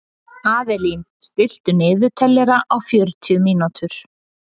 Avelín, stilltu niðurteljara á fjörutíu mínútur.